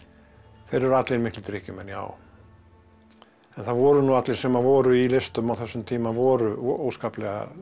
þeir eru allir miklir drykkjumenn já en það voru nú allir sem voru í listum á þessum tíma voru óskaplega